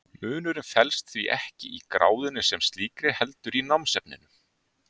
munurinn felst því ekki í gráðunni sem slíkri heldur í námsefninu